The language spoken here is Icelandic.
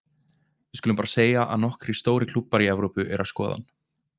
Við skulum bara að segja að nokkrir stórir klúbbar í Evrópu eru að skoða hann.